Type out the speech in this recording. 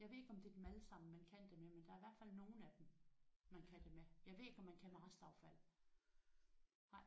Jeg ved ikke om det er dem alle sammen man kan det med men der er i hvert fald nogen af dem man kan det med. Jeg ved ikke om man kan med restaffald